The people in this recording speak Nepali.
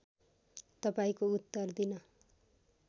तपाईँको उत्तर दिन